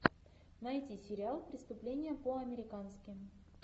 найди сериал преступление по американски